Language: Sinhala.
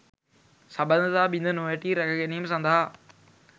සබඳතා බිඳ නොවැටී රැකගැනීම සඳහා